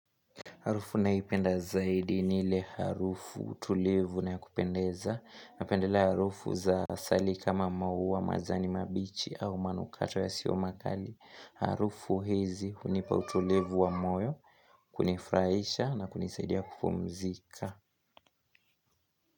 Harufu ninayoipenda zaidi ni ile harufu tulivu na ya kupendeza. Napendelea harufu za asali kama mauwa majani mabichi au manukato yasiyomakali. Harufu hizi hunipa utulivu wa moyo, kunifurahisha na kunisaidia kupumzika.